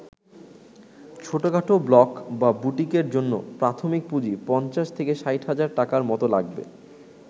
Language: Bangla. ছোটখাটো ব্লক বা বুটিকের জন্য প্রাথমিক পুঁজি ৫০-৬০ হাজার টাকার মতো লাগবে।